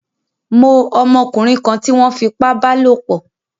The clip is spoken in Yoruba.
Mó ọmọkúnrin kan tí wón fipá bálòpò